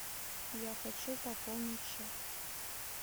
я хочу пополнить счет